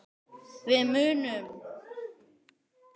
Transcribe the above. Við munum hittast síðar.